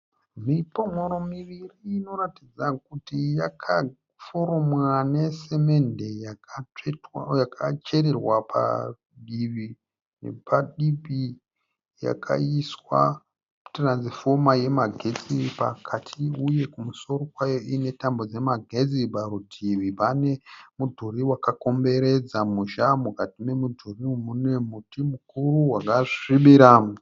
Mipon'oro miviri inoratidza kuti yakaforomwa nesimende yakachererwa padivi nepadivi yakaiswa tiranzifoma yemagetsi pakati uye kumusoro kwayo ine tambo dzemagetsi parutivi pane mudhuri wakakomberedza musha mukati memudhuri uyu mune muti mukuru wakasvibira.